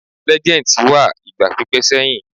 Legends wà igba pipẹ seyin